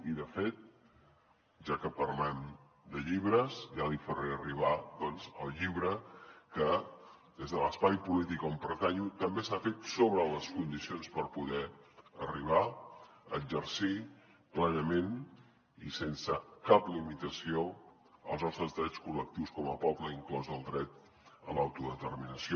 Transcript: i de fet ja que parlem de llibres ja li faré arribar doncs el llibre que des de l’espai polític on pertanyo també s’ha fet sobre les condicions per poder arribar a exercir plenament i sense cap limitació els nostres drets col·lectius com a poble inclòs el dret a l’autodeterminació